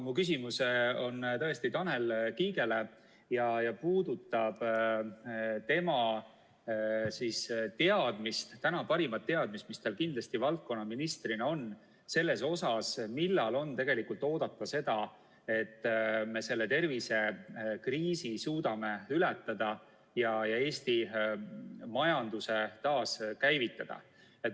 Mu küsimus on tõesti Tanel Kiigele ja puudutab tema teadmist, tänast parimat teadmist, mis tal kindlasti valdkonnaministrina on, millal on oodata seda, et me selle tervisekriisi suudame ületada ja Eesti majanduse taaskäivitada.